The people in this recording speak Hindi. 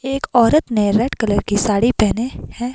एक औरत ने रेड कलर की साड़ी पहने हैं।